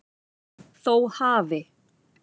Þó hafi